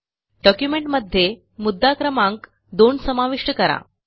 डॉक्युमेंटमध्ये मुद्दा क्रमांक 2 समाविष्ट करा